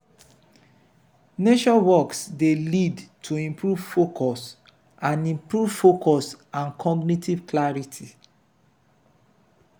nature walks dey lead to improved focus and improved focus and cognitive clarity.